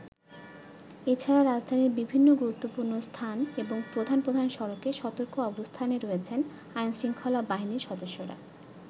এছাড়া রাজধানীর বিভিন্ন গুরুত্বপূর্ণ স্থান এবং প্রধান প্রধান সড়কে সতর্ক অবস্থানে রয়েছেন আইন-শৃঙ্খলা বাহিনীর সদস্যরা।